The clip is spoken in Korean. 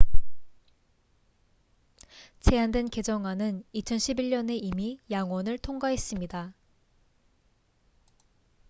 제안된 개정안은 2011년에 이미 양원을 통과했습니다